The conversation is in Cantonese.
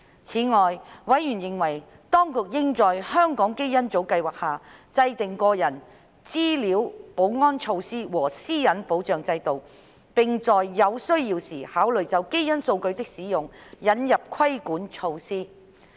此外，委員認為，當局應就香港基因組計劃制訂個人資料保安措施和私隱保障制度，並在有需要時考慮就基因數據的使用引入規管措施。